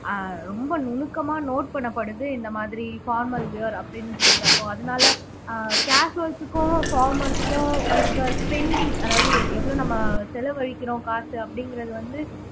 ஆஹ் ரொம்ப நுணுக்கமா note பண்ணப்படுது இந்த மாதிரி formal wear அப்படின்னு சொல்றப்போ அதனால ஆஹ் casuals க்கும் formals க்கும் இருக்கற spending அதாவது எ எவ்வளவு நம்ம செலவழிக்கிறோம் காசு அப்படிங்கிறது வந்து